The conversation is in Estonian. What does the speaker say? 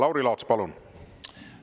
Lauri Laats, palun!